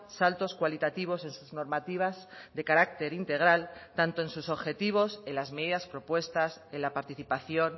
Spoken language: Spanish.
saltos cualitativos en sus normativas de carácter integral tanto en sus objetivos en las medidas propuestas en la participación